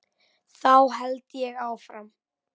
Þá held ég áfram.